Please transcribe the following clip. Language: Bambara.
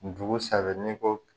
Dugu saba ni ko